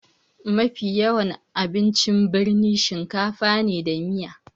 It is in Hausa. Mafi yawan abincin birni shakafa da miya ne